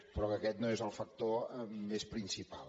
però que aquest no és el factor més principal